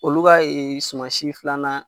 Olu ka ee sumasi filanan